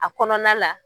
A kɔnɔna la